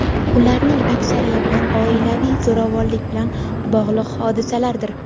ularning aksariyati oilaviy zo‘ravonlik bilan bog‘liq hodisalardir.